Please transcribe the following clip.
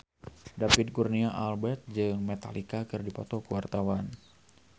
David Kurnia Albert jeung Metallica keur dipoto ku wartawan